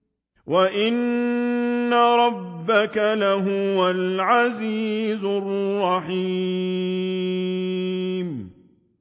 وَإِنَّ رَبَّكَ لَهُوَ الْعَزِيزُ الرَّحِيمُ